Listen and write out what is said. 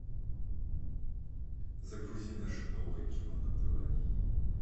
загрузи наше новое кино на тв